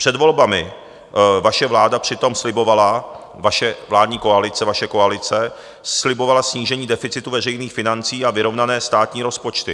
Před volbami vaše vláda přitom slibovala, vaše vládní koalice, vaše koalice slibovala snížení deficitu veřejných financí a vyrovnané státní rozpočty.